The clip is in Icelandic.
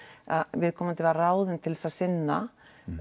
að viðkomandi var ráðinn til þess að sinna